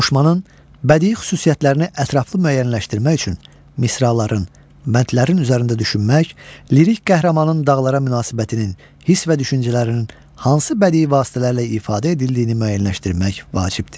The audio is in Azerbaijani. Qoşmanın bədii xüsusiyyətlərini ətraflı müəyyənləşdirmək üçün misraların, bəndlərin üzərində düşünmək, lirik qəhrəmanın dağlara münasibətinin, hiss və düşüncələrinin hansı bədii vasitələrlə ifadə edildiyini müəyyənləşdirmək vacibdir.